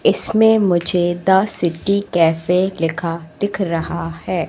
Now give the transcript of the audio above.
इसमें मुझे the city cafe लिखा दिख रहा है।